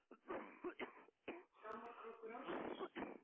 Skammarkrókur ársins?